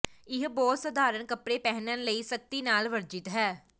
ਇਹ ਬਹੁਤ ਸਧਾਰਨ ਕੱਪੜੇ ਪਹਿਨਣ ਲਈ ਸਖ਼ਤੀ ਨਾਲ ਵਰਜਿਤ ਹੈ